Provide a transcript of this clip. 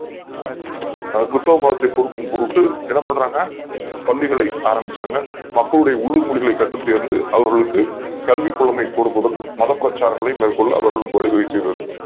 கிருத்துவ மதத்தை பொறுத்து என்ன பண்ணறாண்க ஆரம்பிச்சாங்க பள்ளி களை ஆரம்பித்தார்கள் மக்களுடைய உள்ளூர் மொழிகளை கற்றுத் தேர்ந்து அவர்களுக்கு கல்விக் கூடத்தை கொடுத் ததுடன் மதப் பிரச்சாரங்களையும் மேற்கொள்ள அவர்களுக்கு வழி வகுக்கிறது